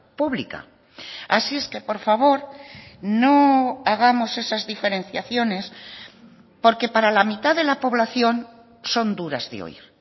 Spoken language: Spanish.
pública así es que por favor no hagamos esas diferenciaciones porque para la mitad de la población son duras de oír